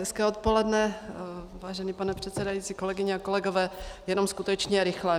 Hezké odpoledne, vážený pane předsedající, kolegyně a kolegové, jenom skutečně rychle.